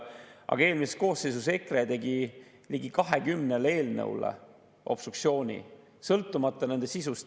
Aga eelmises koosseisus tegi EKRE ligi 20 eelnõu puhul obstruktsiooni, sõltumata nende sisust.